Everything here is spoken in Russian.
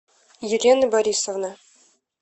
елены борисовны